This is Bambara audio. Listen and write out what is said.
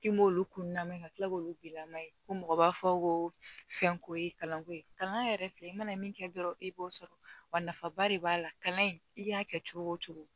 K'i m'olu kun lamɛn ka tila k'olu bila mɛ ko mɔgɔ b'a fɔ ko fɛnko ye kalanko ye kalan yɛrɛ filɛ i mana min kɛ dɔrɔn e b'o sɔrɔ wa nafaba de b'a la kalan in i y'a kɛ cogo o cogo